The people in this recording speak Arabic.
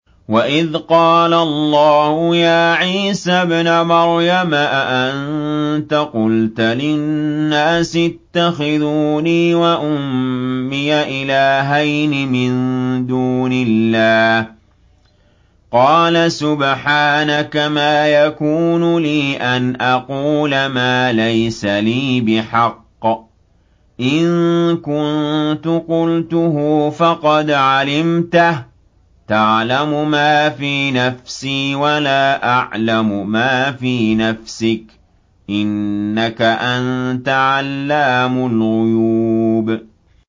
وَإِذْ قَالَ اللَّهُ يَا عِيسَى ابْنَ مَرْيَمَ أَأَنتَ قُلْتَ لِلنَّاسِ اتَّخِذُونِي وَأُمِّيَ إِلَٰهَيْنِ مِن دُونِ اللَّهِ ۖ قَالَ سُبْحَانَكَ مَا يَكُونُ لِي أَنْ أَقُولَ مَا لَيْسَ لِي بِحَقٍّ ۚ إِن كُنتُ قُلْتُهُ فَقَدْ عَلِمْتَهُ ۚ تَعْلَمُ مَا فِي نَفْسِي وَلَا أَعْلَمُ مَا فِي نَفْسِكَ ۚ إِنَّكَ أَنتَ عَلَّامُ الْغُيُوبِ